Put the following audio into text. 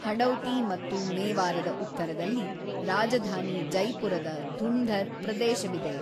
ಹಡೌತಿ ಮತ್ತು ಮೇವಾರದ ಉತ್ತರದಲ್ಲಿ ರಾಜಧಾನಿ ಜೈಪುರದ ಧುಂಧರ್ ಪ್ರದೇಶವಿದೆ.